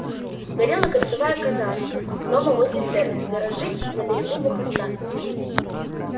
горела кольцевая казарма дома возле церкви гаражи на берегу муховца